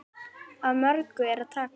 Af mörgu er að taka.